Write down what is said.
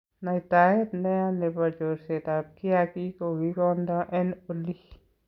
Naitaet neya nebo chorset ab kiakiik kokikondoo en olii.